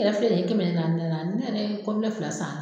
Kɛmɛ naani n yɛrɛ ye fila san